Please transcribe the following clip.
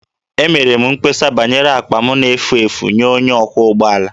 Emere m mkpesa banyere akpa m na-efu efu nye onye ọkwọ ụgbọ ala